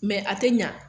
a tɛ ɲa